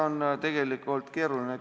Aitäh!